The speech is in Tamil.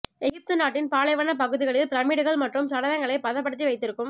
எகிப்து நாட்டின் பாலைவனப் பகுதிகளில் பிரமீட்டுகள் மற்றும் சடலங்களை பதப்படுத்தி வைத்திருக்கும்